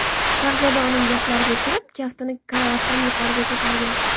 Shahzoda uning gaplariga kirib, kaftini karavotdan yuqoriga ko‘targan.